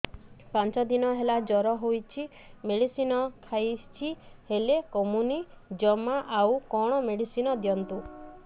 ପାଞ୍ଚ ଦିନ ହେଲା ଜର ହଉଛି ମେଡିସିନ ଖାଇଛି ହେଲେ କମୁନି ଜମା ଆଉ କଣ ମେଡ଼ିସିନ ଦିଅନ୍ତୁ